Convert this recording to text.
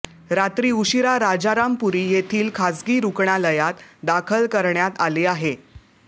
रात्री उशिरा राजारामपुरी येथील खासगी रुग्णालयात दाखल करण्यात आले आहे